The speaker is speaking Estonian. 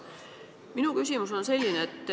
Minu küsimus on selline.